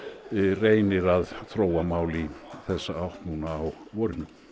reynir að þróa mál í þessa átt núna á vorinu